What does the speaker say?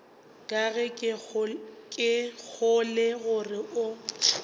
ga ke kgolwe gore o